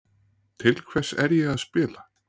Til hvers er ég að spila?